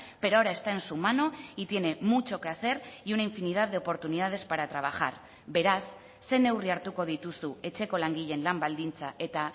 pero ahora está en su mano y tiene mucho que hacer y una infinidad de oportunidades para trabajar beraz ze neurri hartuko dituzu etxeko langileen lan baldintza eta